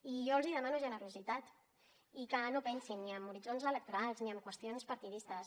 i jo els demano generositat i que no pensin ni en horitzons electorals ni en qüestions partidistes